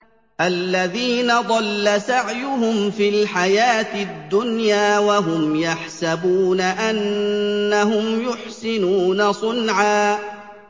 الَّذِينَ ضَلَّ سَعْيُهُمْ فِي الْحَيَاةِ الدُّنْيَا وَهُمْ يَحْسَبُونَ أَنَّهُمْ يُحْسِنُونَ صُنْعًا